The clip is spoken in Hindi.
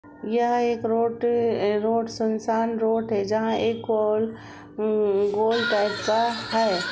यह एक रोट अं रोड सुनसान रोट है जहाँ एक गोल गोल टाइप का है।